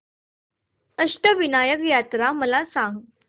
अष्टविनायक यात्रा मला सांग